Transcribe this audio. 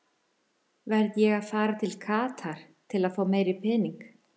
Verð ég að fara til Katar til fá meiri pening?